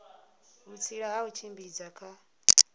vhutsila ha u tshimbidza kha